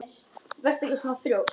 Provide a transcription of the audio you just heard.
Vertu ekki svona þrjósk!